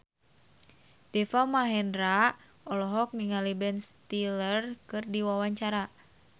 Deva Mahendra olohok ningali Ben Stiller keur diwawancara